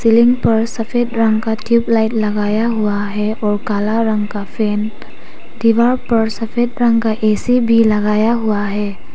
Ceiling पर सफेद रंग का ट्यूब लाइट लगाया हुआ है और काला रंग का फैन दीवार पर सफेद रंग का ए_सी भी लगाया हुआ है।